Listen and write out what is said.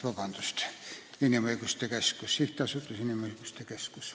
Nii et õige on Sihtasutus Eesti Inimõiguste Keskus.